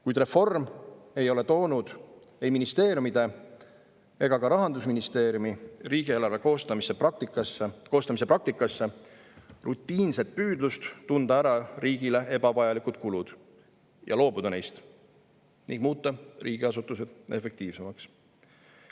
Kuid reform ei ole toonud ei ministeeriumide ega ka Rahandusministeeriumi riigieelarve koostamise praktikasse rutiinset püüdlust tunda ära riigile ebavajalikud kulud ja loobuda neist ning muuta riigiasutused efektiivsemaks.